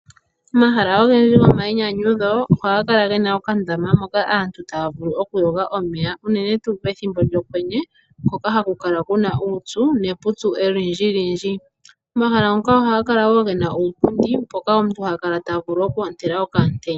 Momahala ogendji gomainyanyudho ohaga kala gena okandama moka aantu taya vulu okuyoga omeya uunene tuu pethimbo lyokwenye mpoka haku kala kuna uupyu nepupyu olindjilindji, omahala ngoka ohaga kala gena iipundi mpoka omuntu tavulu okukala toondele okaantenya.